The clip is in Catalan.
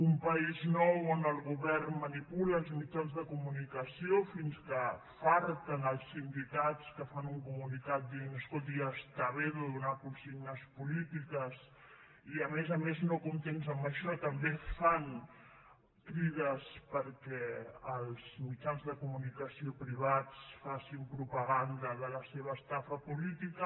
un país nou on el govern manipula els mitjans de comunicació fins que afarten els sindicats que fan un comunicat per dir escolti ja està bé de donar consignes polítiques i a més a més no contents amb això també fan crides perquè els mitjans de comunicació privats facin propaganda de la seva estafa política